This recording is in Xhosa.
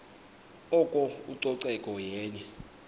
oko ucoceko yenye